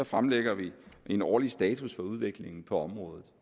fremlægger en årlig status for udviklingen på området